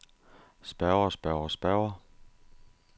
spørger spørger spørger